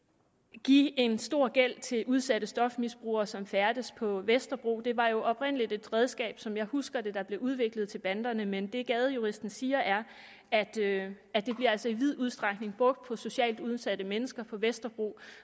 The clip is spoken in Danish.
give en stor gæld til udsatte stofmisbrugere som færdes på vesterbro det var jo oprindelig et redskab der som jeg husker det blev udviklet til banderne men det gadejuristen siger er at det altså i vid udstrækning brugt på socialt udsatte mennesker på vesterbro